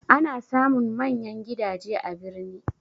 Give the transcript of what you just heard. Ana samun manyan gidaje a birni